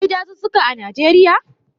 Akwai dazuzzuka a Najeriya?